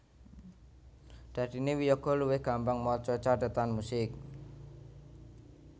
Dadiné wiyaga luwih gampang maca cathetan musik